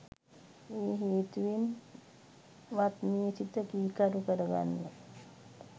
ඒ හේතුවෙන් වත් මේ සිත කීකරු කරගන්න